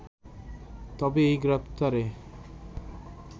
তবে এই গ্রেপ্তারে